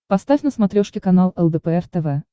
поставь на смотрешке канал лдпр тв